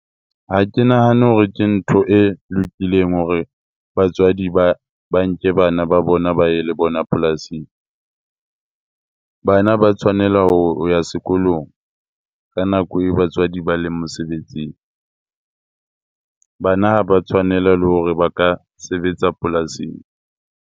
Ha ke nahane hore ke ntho e lokileng hore batswadi ba nke bana ba bona ba ye le bona polasing. Bana ba tshwanela ho ya sekolong ka nako eo batswadi ba leng mosebetsing. Bana ha ba tshwanela le hore ba ka sebetsa polasing.